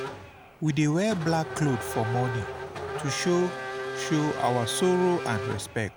We dey wear black cloth for mourning to show show our sorrow and respect.